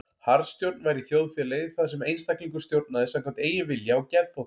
Harðstjórn væri í þjóðfélagi þar sem einstaklingur stjórnaði samkvæmt eigin vilja og geðþótta.